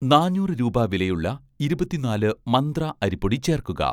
നാനൂറ് രൂപ വിലയുള്ള 'ഇരുപത്തിനാലു മന്ത്ര' അരിപ്പൊടി ചേർക്കുക